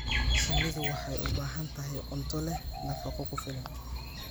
Shinnidu waxay u baahan tahay cunto leh nafaqo ku filan.